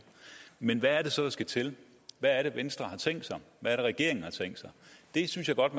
men hvad er det så der skal til hvad er det venstre har tænkt sig hvad er det regeringen har tænkt sig det synes jeg godt